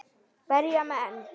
Berja menn.?